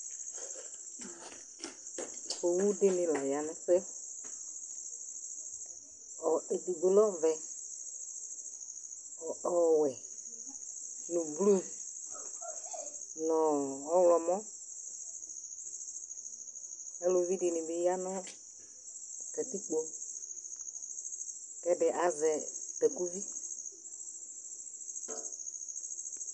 Owu dɩnɩ la aya nʋ ɛʋe Edigbo lɛ ɔvɛ, ɔwɛ nʋ ʋblʋ, nʋ ɔɣlɔmɔ Aluvi dɩnɩ bɩ aya nʋ katikpo, kʋ edi azɛ takʋvɩ